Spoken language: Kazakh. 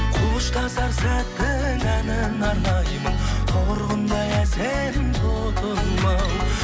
қоштасар сәттің әніне арнаймын торғындай әсем тотым ау